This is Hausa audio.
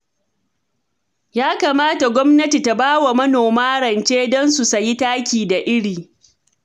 Ya kamata gwamnati ta bawa manoma rance don su sayi taki da iri